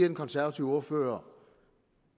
den konservative ordfører